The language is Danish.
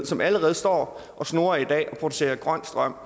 som allerede står og snurrer og producerer grøn strøm